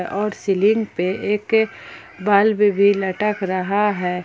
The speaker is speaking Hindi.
और सीलिंग पे एक बल्ब भी लटक रहा है।